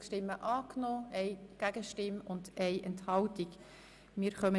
Sie haben de Ziffer 2 angenommen.